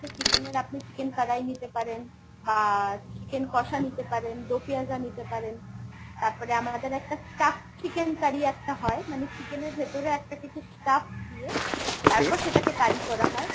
chicken এর আপনি chicken কড়াই নিতে পারেন বা chicken কষা নিতে পারেন, দো পেঁয়াজা নিতে পারেন। তারপর আমাদের একটা stuffed chicken curry একটা হয় মানে chicken এর ভেতরে একটা কিছু stuff দিয়ে সেটাকে curry করা হয়।